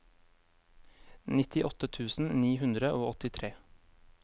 nittiåtte tusen ni hundre og åttitre